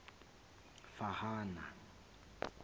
phahana